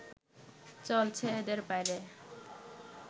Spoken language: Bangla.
চলছে এদের বাইরে